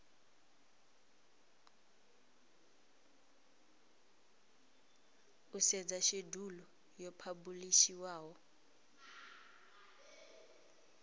u sedza shedulu yo phabulishiwaho